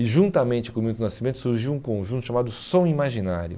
E juntamente com o Milton Nascimento surgiu um conjunto chamado Som Imaginário.